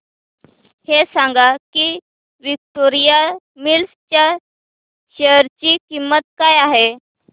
हे सांगा की विक्टोरिया मिल्स च्या शेअर ची किंमत काय आहे